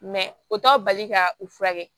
o t'a bali ka u furakɛ